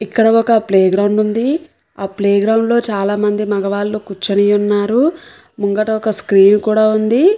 ఇక్కడ ఒక playground ఉంది. ఆ ప్లే గ్రౌండ్ చాలామంది మగవాళ్ళు కూర్చుని ఉన్నారు. ముంగట ఒక స్క్రీన్ కూడా ఉంది.